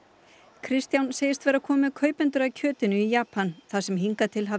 Kristján segist vera kominn með kaupendur að kjötinu í Japan það sem hingað til hafi